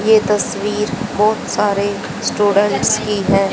ये तस्वीर बहोत सारे स्टूडेंट्स की है।